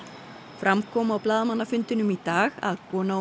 fram kom á blaðamannafundinum í dag að kona og